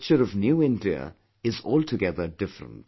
But, the picture of New India is altogether different